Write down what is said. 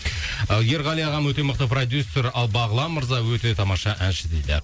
ерғали ағам өте мықты продюссер ал бағлан мырза өте тамаша әнші дейді